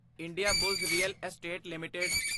Indiabulls real estate LTD